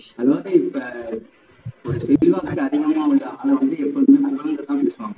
அது மாதிரி இப்போ